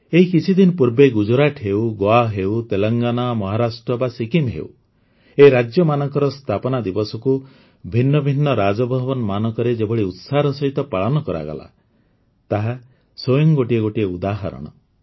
ଏହି କିଛିଦିନ ପୂର୍ବେ ଗୁଜରାଟ ହେଉ ଗୋଆ ହେଉ ତେଲେଙ୍ଗାନା ମହାରାଷ୍ଟ୍ର ବା ସିକ୍କିମ ହେଉ ଏହି ରାଜ୍ୟମାନଙ୍କର ସ୍ଥାପନା ଦିବସକୁ ଭିନ୍ନ ଭିନ୍ନ ରାଜଭବନମାନଙ୍କରେ ଯେଭଳି ଉତ୍ସାହର ସହିତ ପାଳନ କରାଗଲା ତାହା ସ୍ୱୟଂ ଗୋଟିଏ ଗୋଟିଏ ଉଦାହରଣ